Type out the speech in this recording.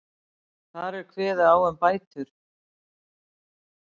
Þar er kveðið á um bætur